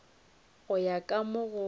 go ya ka mo go